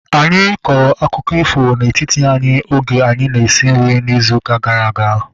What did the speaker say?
Anyị kọrọ akụkọ ifo na-etiti anyị oge anyị na-esi nri izu gara aga